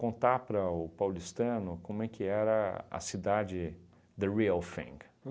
Contar para o paulistano como é que era a cidade, the real thing